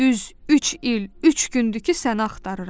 Düz üç il, üç gündür ki, səni axtarıram.